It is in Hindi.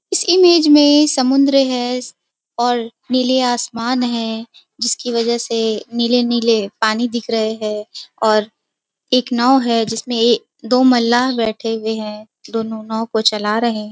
इस इमेज में समुन्द्र है और नीले आसमान है जिसकी वजह से नीले-नीले पानी दिख रहे हैं और एक नाव है जिस में दो मलाह बैठे हुए हैं दोनों नाव को चला रहे हैं।